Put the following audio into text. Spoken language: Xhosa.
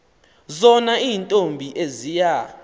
zona iintombi eziya